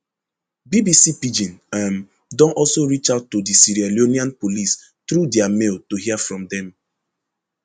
bbc pidgin um don also reach out to di sierra leonean police through dia mail to hear from dem